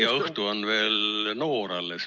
Ja õhtu on veel noor alles.